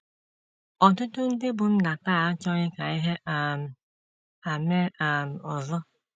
Ọtụtụ ndị bụ́ nna taa achọghị ka ihe um a mee um ọzọ.